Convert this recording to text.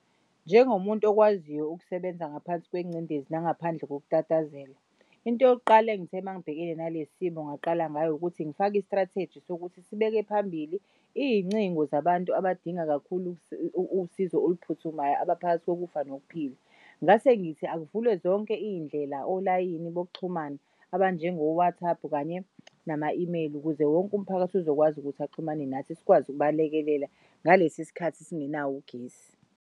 Njengomuntu okwaziyo ukusebenza ngaphansi kwengcindezi nangaphandle nokutatazela, into yokuqala engithe mangibhekene nalesi simo ngaqala ngayo ukuthi ngifake i-strategy sokuthi sibeke phambili iy'ncingo zabantu abadinga kakhulu usizo oluphuthumayo abaphakathi kokufa nokuphila. Ngasengithi akuvulwe zonke iy'ndlela olayini bokuxhumana abanjengo-WhatsApp kanye nama-email ukuze wonk'umphakathi uzokwazi ukuthi axhumane nathi sikwazi ukubalekelela ngalesi sikhathi singenawo ugesi.